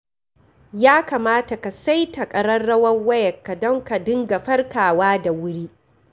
Ya kamata ka saita ƙararrawar wayarka don ka dinga farkawa da wuri.